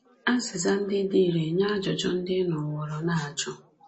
Azịza ndị dị irè nye ajụjụ ndị ị nọworo na-ajụ!